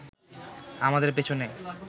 আমাদের পেছনে